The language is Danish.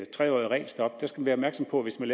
tre årige regelstop at skal være opmærksom på at hvis man